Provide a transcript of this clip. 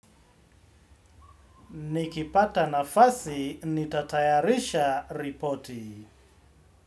Nikipata nafasi, nitatayarisha ripoti.